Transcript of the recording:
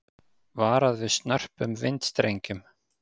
Varað við snörpum vindstrengjum